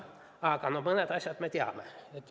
Aga mõnda asja me teame.